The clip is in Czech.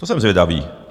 To jsem zvědavý.